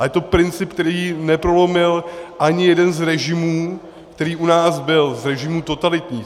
A je to princip, který neprolomil ani jeden z režimů, který u nás byl z režimů totalitních.